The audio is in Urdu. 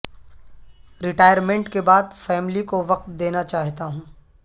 ریٹائرمنٹ کے بعد فیملی کو وقت دینا چاہتا ہوں